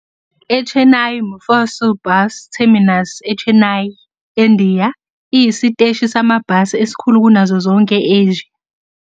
iChennai Mofussil Bus Terminus eChennai, eNdiya, iyisiteshi samabhasi esikhulu kunazo zonke e-Asia.